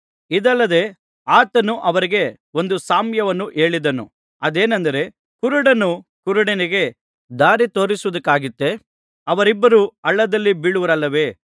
ಇದಲ್ಲದೆ ಆತನು ಅವರಿಗೆ ಒಂದು ಸಾಮ್ಯವನ್ನು ಹೇಳಿದನು ಅದೇನೆಂದರೆ ಕುರುಡನು ಕುರುಡನಿಗೆ ದಾರಿ ತೋರಿಸುವುದಕ್ಕಾದೀತೇ ಅವರಿಬ್ಬರೂ ಹಳ್ಳದಲ್ಲಿ ಬೀಳುವರಲ್ಲವೆ